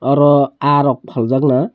oro aaha rok phaljaak na.